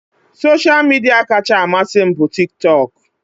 Soshal midia kacha amasị m bụ tik tok